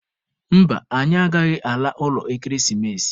Mba, anyị agaghị ala ụlọ ekeresimesi.